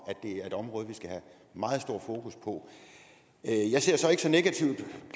at det er et område vi skal have meget stort fokus på jeg ser så ikke så negativt